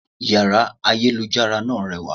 Yàrá ayélujára náà rewà